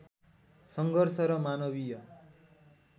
सङ्घर्ष र मानवीय